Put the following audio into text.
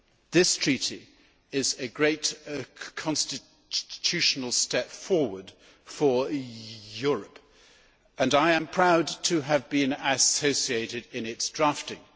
This Treaty is a great constitutional step forward for Europe, and I am proud to have been associated in its drafting.